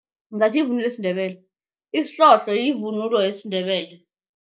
Ngathi yivunulo yesiNdebele. Isihlohlo yivunulo yesiNdebele.